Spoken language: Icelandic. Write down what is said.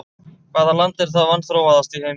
Hvaða land er það vanþróaðasta í heimi?